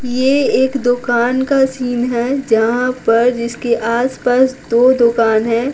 ये एक दुकान का सीन है जहाँ पर जिसके आसपास दो दुकान हैं।